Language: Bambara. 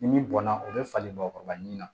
Ni min bɔnna o bɛ falen ba kɔrɔbali min na